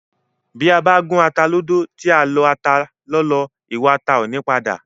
Bí a bá gún ata lódó, tí a lọ ata lọ́lọ́, ìwà ata ò ní padà